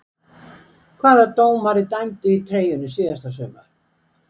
Hvaða dómari dæmdi í treyjunni síðasta sumar?